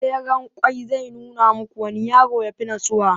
tseren ƙwai zai nuna muku wanne yaro ya fi natsuwa